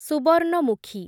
Subarnamukhi